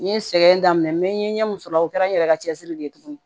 N ye sɛgɛn daminɛ n mɛ n ye ɲɛ min sɔrɔ o kɛra n yɛrɛ ka cɛsiri de ye tuguni